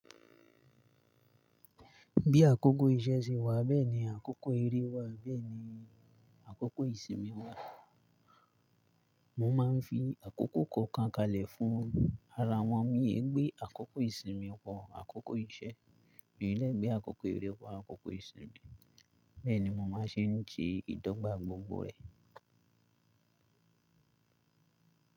Bí àkókò iṣẹ́ ṣe wà, bẹ́ẹ̀ ni àkókò eré wà, bẹ́ẹ̀ ni àkókò ìsinmi wà. Mo máa ń fi àkókò kọ̀ọ̀kan kalẹ̀ fún ara wọn. Mi e gbé àkókò ìsinmi wọ àkókò iṣẹ́, mì lẹ́ gbé àkókò eré wọ àkókò ìsinmi, bẹ́ẹ̀ ni mo máa ṣe ń se ìdọ́gba gbogbo rẹ̀.